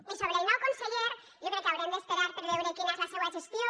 i sobre el nou conseller jo crec que haurem d’esperar per veure quina és la seua gestió